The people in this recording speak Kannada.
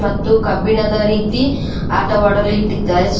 ಮತ್ತು ಕಬ್ಬಿಣದ ರೀತಿ ಆಟವಾಡಲು ಇಟ್ಟಿದ್ದಾರೆ ಸ್--